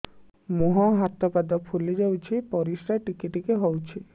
ମୁହଁ ହାତ ପାଦ ଫୁଲି ଯାଉଛି ପରିସ୍ରା ଟିକେ ଟିକେ ହଉଛି